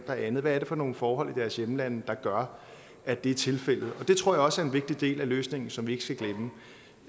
og andet hvad er det for nogle forhold i deres hjemlande der gør at det er tilfældet og det tror jeg også er en vigtig del af løsningen som vi